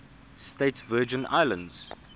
states virgin islands